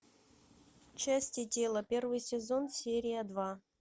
части тела первый сезон серия два